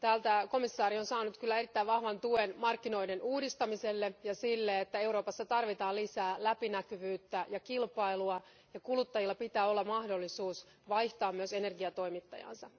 Täältä komissaari on saanut kyllä erittäin vahvan tuen markkinoiden uudistamiselle ja sille, että Euroopassa tarvitaan lisää läpinäkyvyyttä ja kilpailua ja että kuluttajilla pitää olla mahdollisuus vaihtaa myös energiatoimittajaansa.